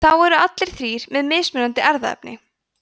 þá eru allir þrír með mismunandi erfðaefni